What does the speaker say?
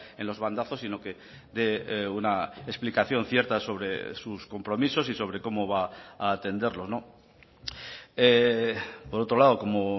en los bandazos sino que dé una explicación cierta sobre sus compromisos y sobre cómo va a atenderlos por otro lado como